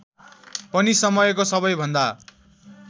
पनि समयको सबैभन्दा